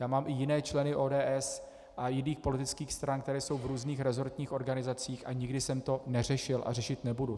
Já mám i jiné členy ODS a jiných politických stran, kteří jsou v různých resortních organizacích, a nikdy jsem to neřešil a řešit nebudu.